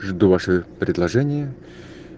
жду ваши предложения